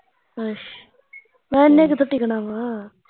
ਅਛ ਮੈਂ ਕਿਹਾਂ ਇਹਨੇ ਕਿੱਥੇ ਟਿਕਣਾ ਵਾ